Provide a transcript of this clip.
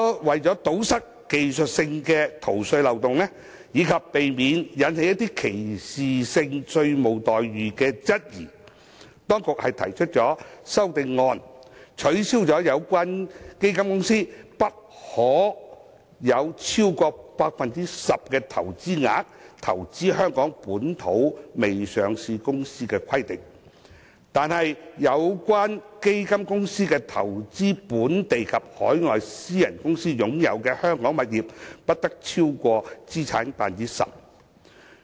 為了堵塞技術性的逃稅漏洞，以及避免引起歧視性稅務待遇的質疑，當局最終提出了修正案，取消有關基金公司不可投資香港未上市公司超出其資產總值 10% 的規定，但有關基金公司投資本地及海外私人公司擁有的香港物業不得超過其資產總值的 10%。